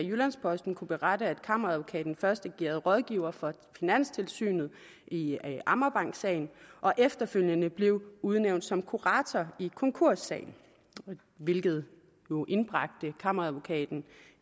jyllands posten kunne berette at kammeradvokaten først agerede rådgiver for finanstilsynet i amagerbanksagen og efterfølgende blev udnævnt som kurator i konkurssagen hvilket jo indbragte kammeradvokaten